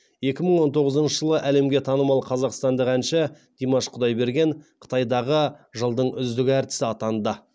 екі мың он тоғызыншы жылы әлемге танымал қазақстандық әнші димаш құдайберген қытайдағы жылдың үздік әртісі атанды